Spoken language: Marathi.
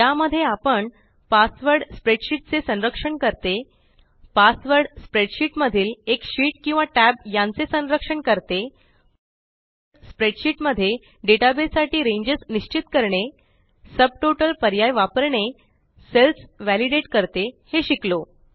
या मध्ये आपण पासवर्ड स्प्रेडशीट चे संरक्षण करते पासवर्ड स्प्रेडशीट मधील एक शीट किंवा टॅब यांचे संरक्षण करते स्प्रेडशीट मध्ये डेटाबेस साठी रेंजस निश्चित करणे सब टोटल पर्याय वापरणे सेल्स वालिडेट करते हे शिकलो